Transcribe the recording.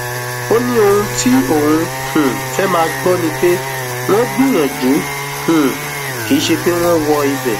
ó ní ohun tí òun um fẹẹ máa gbọ ni pé wọn gbìyànjú um kì í ṣe pé wọn wọ ibẹ